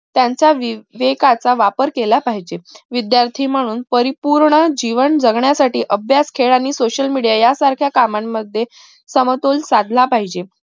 त्यांचा वेकाचा वापर केला पाहिजे विद्यार्थी म्हणून परिपूर्ण जीवन जगण्यासाठी अभ्यास खेळ आणि social media यासारख्या कामांमध्ये समतोल साधला पाहिजे